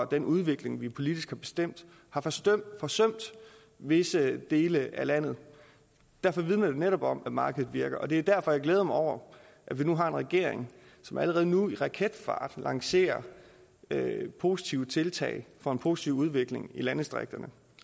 den udvikling vi politisk har bestemt har forsømt forsømt visse dele af landet derfor vidner det netop om at markedet virker og det er derfor at jeg glæder mig over at vi nu har en regering som allerede nu med raketfart lancerer positive tiltag for en positiv udvikling i landdistrikterne